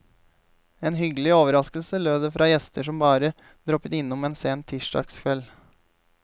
En hyggelig overraskelse, lød det fra gjester som bare droppet innom en sen tirsdagskveld.